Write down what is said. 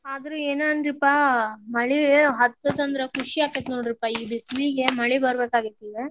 ಆದ್ರೂ ಏನ್ ಅನ್ರಿಪಾ ಮಳಿ ಹತ್ತೆತಂದ್ರ್ ಖುಷಿ ಅಕ್ಕೆತ್ ನೋಡ್ರಿಪಾ ಈ ಬಿಸಲಿಗೆ ಮಳಿ ಬರ್ಬೇಕಾಗಿತ್ತ ಇಲ್ಲೇ.